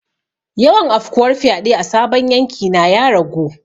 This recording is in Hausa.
Yawan afkuwar fyade a sabon yanki na ya ragu.